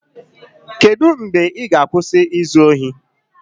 Kedu mgbe ị ga-akwụsị izu ohi?